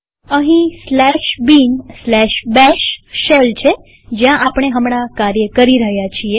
અહીં bin bash shell છે જ્યાં આપણે હમણાં કાર્ય કરી રહ્યા છીએ